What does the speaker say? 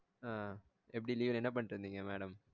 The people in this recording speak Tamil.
ஆஹ் எப்படி leave ல என்ன பண்ணிட்டு இருந்தீங்க madam